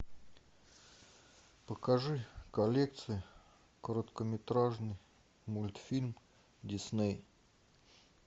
покажи коллекции короткометражный мультфильм дисней